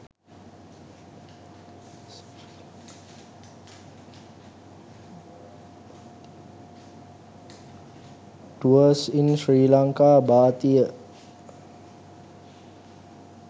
tours in sri lanka bathiya